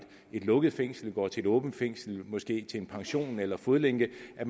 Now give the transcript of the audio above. et lukket fængsel går til et åbent fængsel og måske ud til en pension eller fodlænkeordningen at